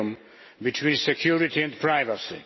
a balance between security and privacy.